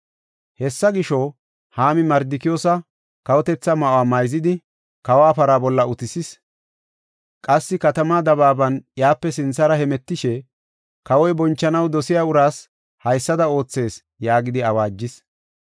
Hessa gisho, Haami Mardikiyoosa kawotetha ma7o mayzidi, kawa para bolla utisis. Qassi katamaa dabaaban iyape sinthara hemetishe, “Kawoy bonchanaw dosiya uraas haysada oothees” yaagidi awaajis.